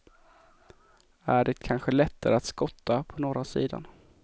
Är det kanske lättare att skotta på norra sidan?